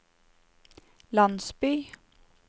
landsby